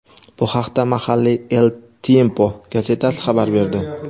Bu haqda mahalliy "El Tiempo" gazetasi xabar berdi.